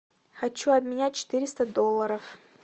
хочу обменять четыреста долларов